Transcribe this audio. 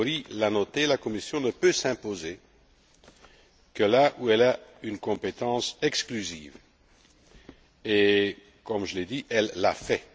Őry l'a noté, la Commission ne peut s'imposer que là où elle a une compétence exclusive et, comme je l'ai dit, elle l'a fait.